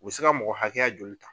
U bɛ se ka mɔgɔ hakɛya joli ta.